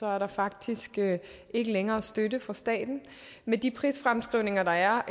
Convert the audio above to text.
er der faktisk ikke længere støtte fra staten med de prisfremskrivninger der er